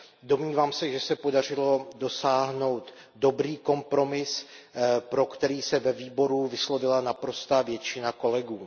Domnívám se, že se podařilo dosáhnout dobrý kompromis, pro který se ve výboru vyslovila naprostá většina kolegů.